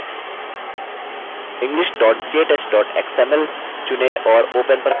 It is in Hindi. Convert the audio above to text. english ktouch xml चुनें और open पर click करें